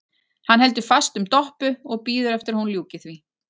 Hann heldur fast um Doppu og bíður eftir að hún ljúki því.